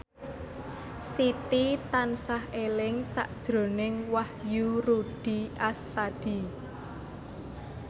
Siti tansah eling sakjroning Wahyu Rudi Astadi